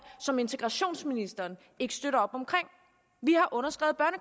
som integrationsministeren ikke støtter op